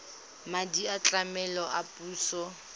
madi a tlamelo a puso